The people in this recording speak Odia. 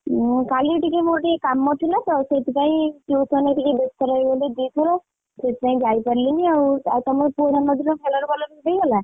ମୁଁ କାଲି ଟିକେ ମୋର ଟିକେ କାମ ଥିଲା ତ ସେଥିପାଇଁ tuition ରେ ବେସ୍ତ ରହିଗଲି ଦି ଥର ସେଥିପାଇଁ ଆଉ ଯାଇ ପାରିଲିନି ଆଉ, ଆଉ ତମ ପୁଅ ଜନ୍ମଦିନ ଭଲରେ ଭଲରେ ହେଇଗଲା?